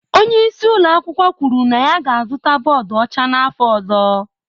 Onye isi ụlọ akwụkwọ kwuru na ya ga-azụta bọọdụ ọcha n'afọ ọzọ.